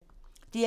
DR1